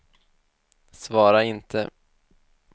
svara inte